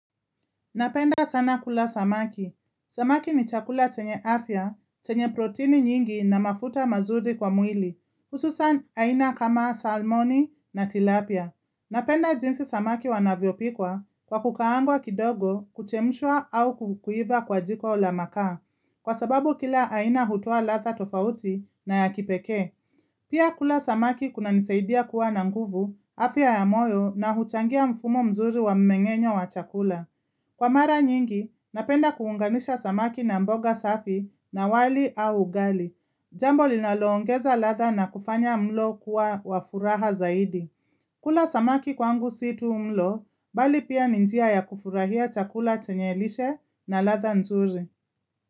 Napenda sana kula samaki. Samaki ni chakula chenye afya, chenye protini nyingi na mafuta mazuri kwa mwili. Hususan aina kama salmoni na tilapia. Napenda jinsi samaki wanavyo pikwa kwa kukaangwa kidogo kuchemshwa au kukuiva kwa jiko la makaa. Kwa sababu kila aina hutua latha tofauti na ya kipeke. Pia kula samaki kuna nisaidia kuwa na nguvu, afya ya moyo na huchangia mfumo mzuri wa mmengenyo wa chakula. Kwa mara nyingi, napenda kuunganisha samaki na mboga safi na wali au gali. Jambo linaloongeza ladha na kufanya mlo kuwa wa furaha zaidi. Kula samaki kwangu situ mlo, bali pia ni njia ya kufurahia chakula chenye lishe na ladha nzuri.